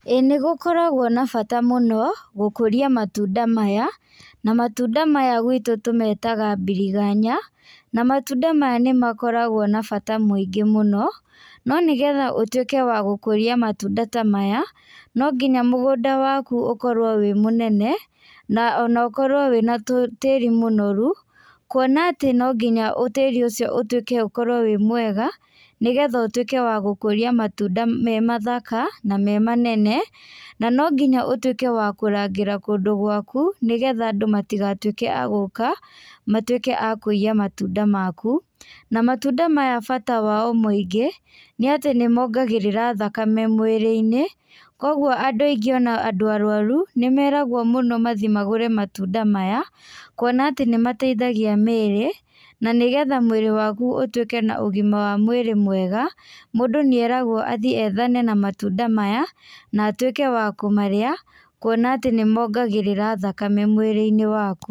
ĩĩ gũkoragwo na bata mũno gũkũria matunda maya na matunda maya gwitũ tũmetaga birigaya, na matunda maya nĩmakoragwo na bata mũingĩ mũno no nĩgetha ũtũike wa gũkũria matunda ta maya nonginya mũgũnda wakũ ũkorwe wĩ mũnene na ũkorwe wĩna tĩri mũnoru kwona atĩ nonginya tiri ũcio ũtũĩke wĩ mwega nĩgetha ũtũĩke wa gũkũria matunda me mathaka na memanene na nonginya ũtũĩke wakũrangira andũ gwaku nĩgetha andũ matigatuĩke magũka matuĩke makũiya matunda maku na matunda maya bata mao mũingĩ nĩ atĩ nĩmongagĩrĩra thakame mwĩrĩinĩ kwoguo andũ aingĩ ona andũ arwaru nĩmeragwo mũno mathii magũre matunda maya kwona atĩ nĩmateithagia mĩĩrĩ na nĩgetha mwĩrĩ waku ũtũĩke na ũgima wa mwĩrĩ mwega ,mũndũ nĩeragwo athii ethane na matunda maya na atũĩke wa kũmarĩa kwona atĩ nĩmongagĩrira thakame mwĩrĩinĩ waku.